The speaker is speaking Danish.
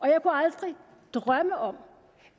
jeg kunne aldrig drømme om